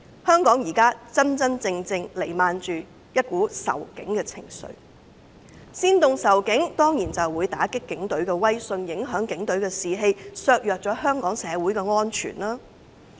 香港現時彌漫着仇警情緒，他們煽動仇警，當然會打擊警隊的威信，影響警隊的士氣，以及削弱香港社會的安全。